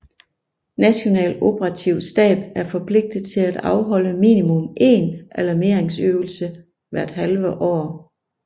National Operativ Stab er forpligtet til at afholde minimum én alarmeringsøvelse hvert halve år